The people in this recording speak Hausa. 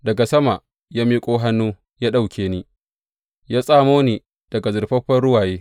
Daga sama ya miƙo hannu ya ɗauke ni, ya tsamo ni daga zurfafa ruwaye.